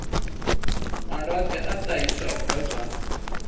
malwadze a ṱahiswaho nga zwa